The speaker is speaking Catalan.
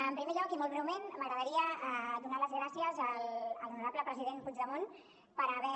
en primer lloc i molt breument m’agradaria donar les gràcies a l’honorable president puigdemont per haver